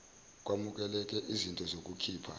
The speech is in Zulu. kwamukeleke iznto zokukhipha